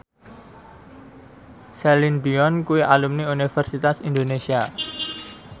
Celine Dion kuwi alumni Universitas Indonesia